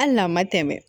Hali n'a ma tɛmɛ